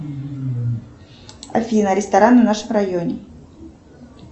афина рестораны в нашем районе